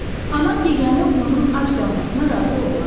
Anam yeganə oğlunun ac qalmasına razı olmaz.